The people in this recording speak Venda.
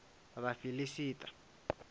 vhafiḽista